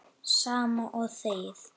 Sama og þegið!